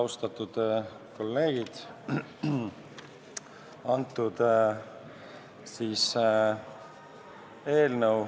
Austatud kolleegid!